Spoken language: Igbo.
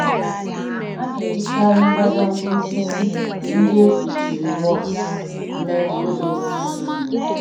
A na-ejikarị mbadamba osisi ndị e kpuchiri waks mee codeces mbụ.